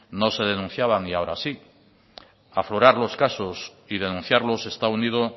no se denunciaba y ahora sí aflorar los casos y denunciarlos está unido